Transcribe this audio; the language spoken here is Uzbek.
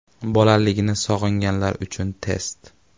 Bolaligini sog‘inganlar uchun test.